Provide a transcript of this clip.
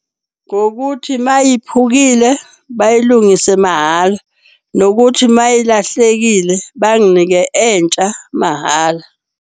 Ngokuthi mayiphukile bayilungise mahhala, nokuthi mayilahlekile banginike entsha mahhala.